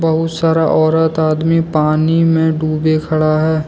बहुत सारा औरत आदमी पानी में डूबे खड़ा है।